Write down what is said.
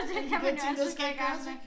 Alle de der ting der skal gøres ik